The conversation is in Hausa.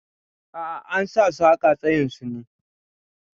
A'a, an sa su haƙa tsayin su ne.